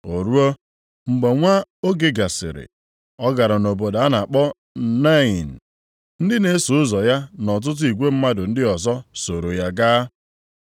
O ruo mgbe nwa oge gasịrị, ọ gara nʼobodo a na-akpọ Nain. Ndị na-eso ụzọ ya na ọtụtụ igwe mmadụ ndị ọzọ sooro ya gaa.